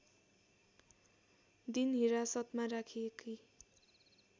दिन हिरासतमा राखिएकी